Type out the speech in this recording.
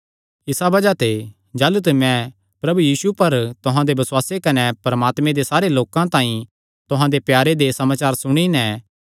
इसा बज़ाह ते जाह़लू ते मैं प्रभु यीशु पर तुहां दे बसुआसे कने परमात्मे दे सारे लोकां तांई तुहां दे प्यारे दे बारे च समाचार सुणी नैं